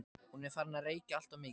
Hún er farin að reykja alltof mikið.